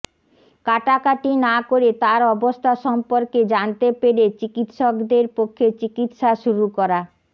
কাটা কাটি না করে তার অবস্থা সম্পর্কে জানতে পেরে চিকিত্সকদের পক্ষে চিকিত্সা শুরু করা